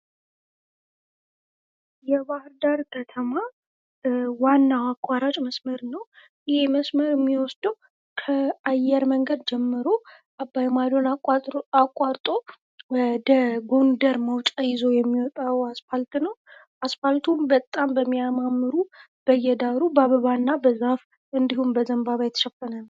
የባህርዳር ከተማ ዋና አቋራጭ መስመር ነው። ይህ መስመር የሚወስደው ከአየር መንገድ ጀምሮ አባይማዶን አቋርጦ ወደ ጎንደር መውጫ ይዞ የሚወጣው አስፓልት ነው። አስፓልቱም በጣም በሚያምር በየዳሩ በአበባና በዛፍ እንድሁም በዘንባባ የተሸፈነ ነው።